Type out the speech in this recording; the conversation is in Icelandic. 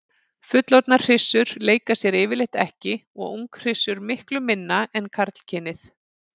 Fullorðnar hryssur leika sér yfirleitt ekki og unghryssur miklu minna en karlkynið.